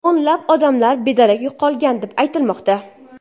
O‘nlab odamlar bedarak yo‘qolgan, deb aytilmoqda.